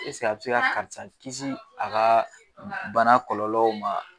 Eseke a bɛ se ka karisa kisi a ka bana kɔlɔlɔw man.